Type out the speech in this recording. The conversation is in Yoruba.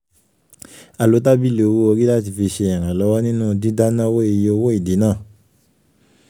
a lo tábìlì owó orí láti fi ṣe ìrànlọ́wọ́ nínú dídánáwọ́ iye owó ìdínà.